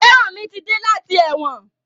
Feranmi mí ti dé láti èwòn.